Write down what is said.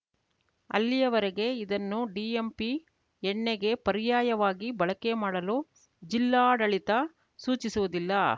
ಅಲ್ಲಿಯವರೆಗೆ ಇದನ್ನು ಡಿಎಂಪಿ ಎಣ್ಣೆಗೆ ಪರಾರ‍ಯಯವಾಗಿ ಬಳಕೆ ಮಾಡಲು ಜಿಲ್ಲಾಡಳಿತ ಸೂಚಿಸುವುದಿಲ್ಲ